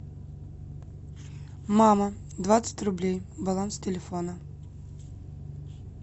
мама двадцать рублей баланс телефона